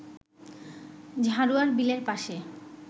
ঝাড়ুয়ার বিলের পাশে